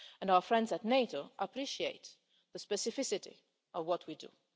Our friends at NATO appreciate the specificity of what we do.